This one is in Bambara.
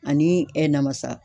Ani ɛ namasa.